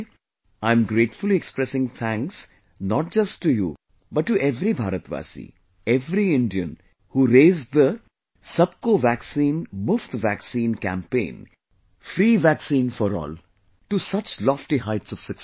Today, I am gratefully expressing thanks, not just to you but to every Bharatvasi, every Indian who raised the 'Sabko vaccine Muft vaccine' campaign to such lofty heights of success